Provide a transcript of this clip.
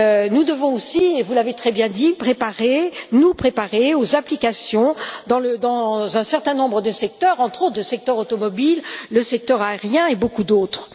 Nous devons aussi, vous l'avez très bien dit, nous préparer aux applications dans un certain nombre de secteurs, entre autres le secteur automobile, le secteur aérien et beaucoup d'autres.